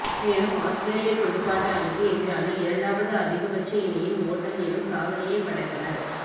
மேலும் ஆத்திரேலியத் துடுப்பாட்ட அணிக்கு எதிரான இரண்டாவது அதிகபட்ச இணையின் ஓட்டம் எனும் சாதனையைப் படைத்தனர்